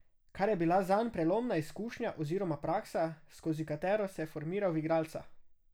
Kar je bila zanj prelomna izkušnja oziroma praksa, skozi katero se je formiral v igralca.